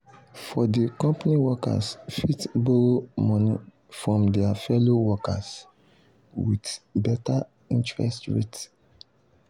for di company workers fit borrow money from their fellow workers with better interest rate.